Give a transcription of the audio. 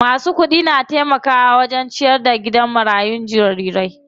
Masu kudi na taimakawa wajen ciyar da gidan marayun jarirai.